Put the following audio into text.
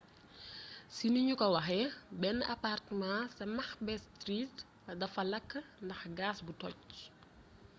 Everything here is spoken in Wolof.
ci niniuko waxé ben apartema ca macbeth street defa lak ndax gas bu tojj